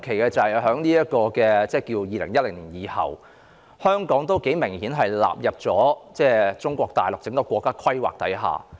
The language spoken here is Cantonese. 特別要指出的是，在2010年後，香港明顯已被納入中國大陸整個國家規劃之下。